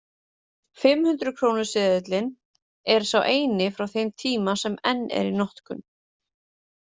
Fimm hundruð krónu seðillinn er sá eini frá þeim tíma sem enn er í notkun.